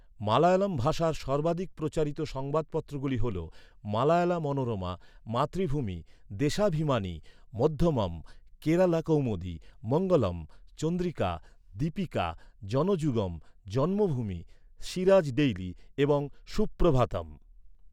মালয়ালাম ভাষার সর্বাধিক প্রচারিত সংবাদপত্রগুলি হল মালয়ালা মনোরমা, মাতৃভূমি, দেশাভিমানি, মধ্যমম, কেরালা কৌমুদি, মঙ্গলম, চন্দ্রিকা, দীপিকা, জনযুগম, জন্মভূমি, সিরাজ ডেইলি এবং সুপ্রভাথম।